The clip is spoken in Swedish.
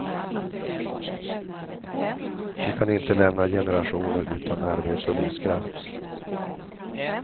Vi kan inte lämna generationer utan arbete och livskraft.